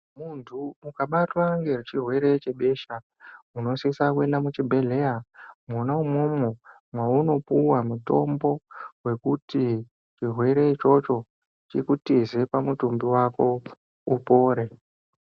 Munthu ukabatwa ngechirwere chebesha unosisa kuenda kuchibhedhleya mwona umwomwo mwaunopuwa mutombo wekuti chirwere ichocho chikutize pamutumbi wako upore.